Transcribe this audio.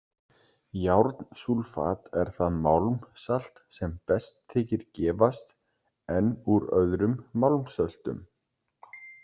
Járnsúlfat er það málmsalt sem best þykir gefast en úr öðrum málmsöltum.